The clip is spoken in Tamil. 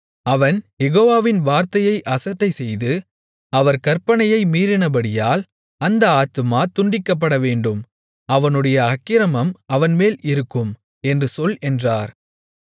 அவன் யெகோவாவின் வார்த்தையை அசட்டைசெய்து அவர் கற்பனையை மீறினபடியால் அந்த ஆத்துமா துண்டிக்கப்பட வேண்டும் அவனுடைய அக்கிரமம் அவன்மேல் இருக்கும் என்று சொல் என்றார்